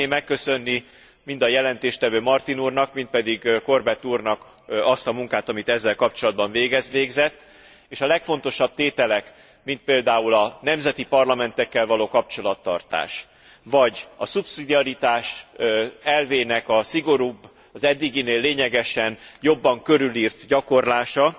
Én szeretném megköszönni mind a jelentéstevő Martin úrnak, mind pedig Corbett úrnak azt a munkát, amit ezzel kapcsolatban végzett és a legfontosabb tételek, mint például a nemzeti parlamentekkel való kapcsolattartás, vagy a szubszidiaritás elvének a szigorúbb, az eddiginél lényegesen jobban körülírt gyakorlása,